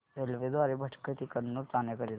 railway द्वारे भटकळ ते कन्नूर जाण्या करीता